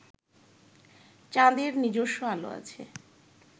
চাঁদের নিজস্ব আলো আছে